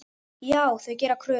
Já, þau gera kröfur.